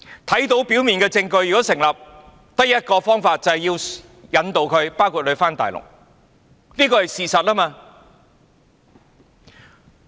如果表面證據成立，便只有一個做法，也就是引渡他回大陸，這是事實。